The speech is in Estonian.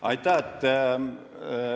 Aitäh!